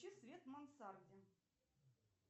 включи свет в мансарде